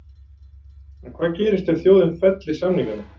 En hvað gerist ef þjóðin fellir samningana?